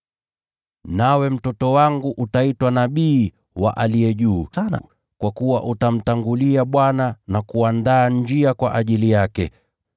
“Nawe mtoto wangu, utaitwa nabii wa Aliye Juu Sana; kwa kuwa utamtangulia Bwana na kuandaa njia kwa ajili yake,